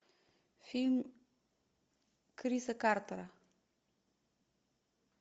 фильм криса картера